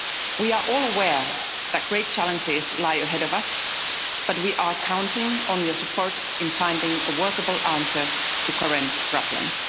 We are all aware that great challenges lie ahead of us, but we are counting on your support in finding a workable answer to the current problems.